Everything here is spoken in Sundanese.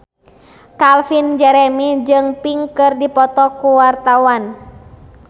Calvin Jeremy jeung Pink keur dipoto ku wartawan